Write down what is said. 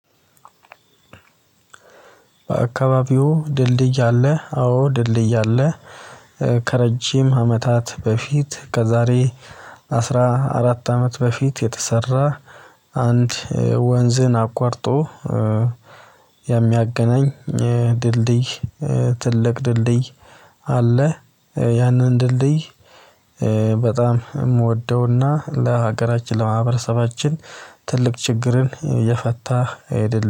በአካባቢዎ ድልድይ አለ አዎ ድልድይ አለ። ከረጅም አመታት በፊት ከዛሬ አስራ አራት አመት በፊት የተሰራ ወንዝን አቋርጦ የሚያገናኝ ድልድይ ትልቅ ድልድይ አለ። ያንን ድልድይ በጣም የምወደውና ለሀገራችን ለማህበረሰባችን ትልቅ ችግርን የፈታ አይደለም